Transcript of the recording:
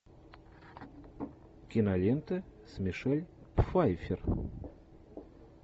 кинолента с мишель пфайффер